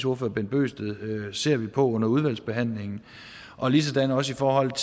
ordfører bent bøgsted ser vi på under udvalgsbehandlingen og ligesådan også i forhold